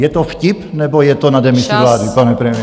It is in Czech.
Je to vtip, nebo je to na demisi vlády, pane premiére?